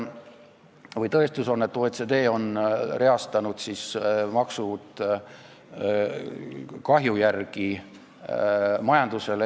Tõestus on, et OECD on reastanud maksud kahju järgi majandusele.